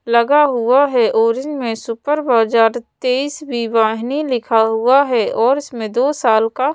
लगा हुआ है और इन में सुपर बाजार ट्वींस वाहिनी लिखा हुआ है और इसमें दो साल का--